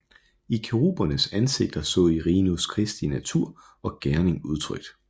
I kerubernes ansigter så Irenæus Kristi natur og gerning udtrykt